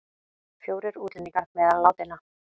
Fjórir útlendingar meðal látinna